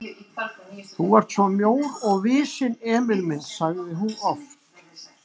Þú ert svo mjór og visinn, Emil minn sagði hún oft.